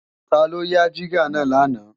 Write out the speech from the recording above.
Taló yá jígà náà lánàá